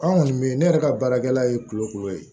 An kɔni be yen ne yɛrɛ ka baarakɛla ye kulokulo ye